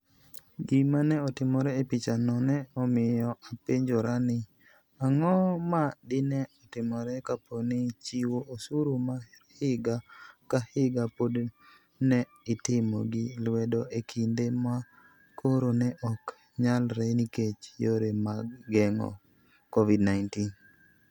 Gima ne otimore e pichano ne omiyo apenjora ni, ang'o ma dine otimore kapo ni chiwo osuru mar higa ka higa pod ne itimo gi lwedo e kinde ma koro ne ok nyalre nikech yore mag geng'o COVID-19?